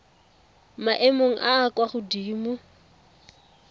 maemong a a kwa godimo